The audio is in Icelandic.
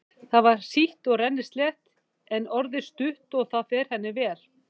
Það var sítt og rennislétt en er orðið stutt og það fer henni vel.